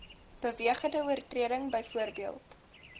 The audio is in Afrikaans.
bewegende oortreding byvoorbeeld